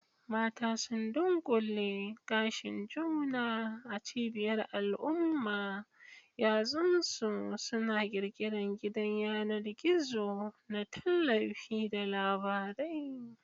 Mata sun dunƙule gashin juna a cibiyar al'umma, yatsunsu suna ƙirƙirar gidan yanar gizo na tallafi da labarai.